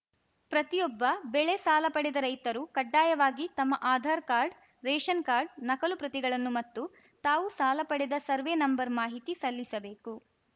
ಪ್ರತಿಯೊಬ್ಬ ಬೆಳೆ ಸಾಲ ಪಡೆದ ರೈತರು ಕಡ್ಡಾಯವಾಗಿ ತಮ್ಮ ಆದಾರ್‌ ಕಾರ್ಡ್ ರೇಷನ್‌ ಕಾರ್ಡ್ ನಕಲು ಪ್ರತಿಗಳನ್ನು ಮತ್ತು ತಾವು ಸಾಲ ಪಡೆದ ಸರ್ವೇ ನಂಬರ್‌ ಮಾಹಿತಿ ಸಲ್ಲಿಸಬೇಕು